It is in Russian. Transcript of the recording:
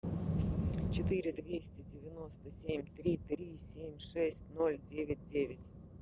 четыре двести девяносто семь три три семь шесть ноль девять девять